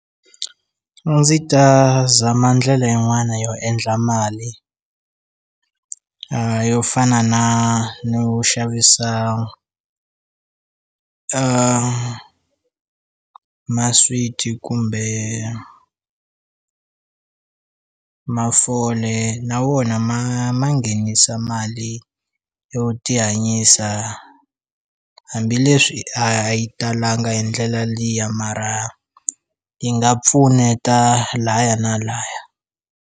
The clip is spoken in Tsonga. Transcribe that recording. A ndzi ta zama ndlela yin'wana yo endla mali yo fana na no xavisa maswiti kumbe mafole na wona ma ma nghenisa mali yo tihanyisa hambileswi a yi talanga hi ndlela liya mara yi nga pfuneta laya na laya.